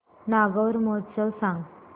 नागौर महोत्सव सांग